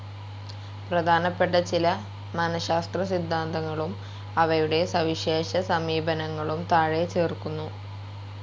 പ്രധാനപ്പെട്ട ചില മനഃശാസ്ത്ര സിദ്ധാന്തങ്ങളും അവയുടെ സവിശേഷ സമീപനങ്ങളും താഴെ ചേർക്കുന്നു.